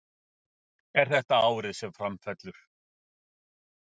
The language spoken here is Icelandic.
Er þetta árið sem Fram fellur?